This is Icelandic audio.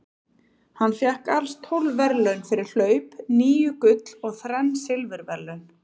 Hann fékk alls tólf verðlaun fyrir hlaup, níu gull og þrenn silfurverðlaun.